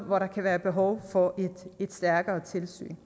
hvor der kan være behov for et stærkere tilsyn